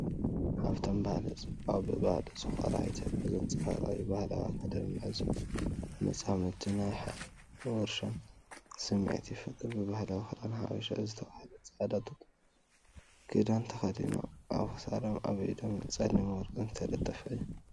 ሃብታም ባህሊ፡ ጽባቐ፡ ብባህሊ ዝኾርዓ ኢትዮጵያ ዘንጸባርቕ እዩ። ባህላዊ ኣከዳድና እዞም መጻምድቲ ናይ ሓይልን ውርሻን ስምዒት ይፈጥር። ብባህላዊ "ክዳን ሓበሻ" ዝተባህለ ጻዕዳ ጡጥ ክዳን ተኸዲኖም ኣብ ክሳዶምን ኣብ ኢዶምን ጸሊምን ወርቅን ዝተጠልፈ እዩ።